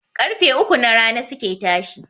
Ƙarfe uku na rana suke tashi